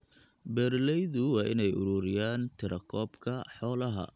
Beeralaydu waa inay ururiyaan tirakoobka xoolaha.